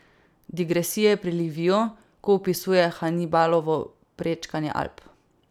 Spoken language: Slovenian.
Digresije pri Liviju, ko opisuje Hanibalovo prečkanje Alp.